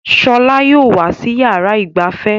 Shola yìí ó wà sì yára ìgbafẹ́.